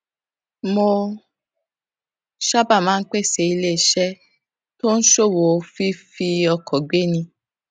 mo sábà máa ń pe iléeṣé tó ń ṣòwò fífi ọkọ gbéni